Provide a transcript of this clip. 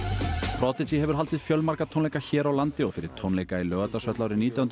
prodigy hefur haldið fjölmarga tónleika hér á landi og fyrir tónleika í Laugardalshöll árið nítján hundruð